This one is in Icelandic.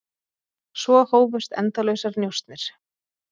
Svo hófust endalausar njósnir.